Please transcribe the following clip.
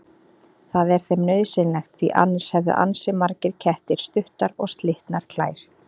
Það er þeim nauðsynlegt því annars hefðu ansi margir kettir stuttar og slitnar klær.